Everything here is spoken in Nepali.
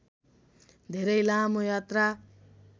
धेरै लामो यात्रा